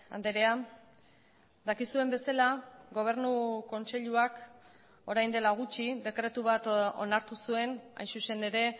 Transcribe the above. andrea dakizuen bezala gobernu kontseiluak orain dela gutxi dekretu bat onartu zuen hain zuzen ere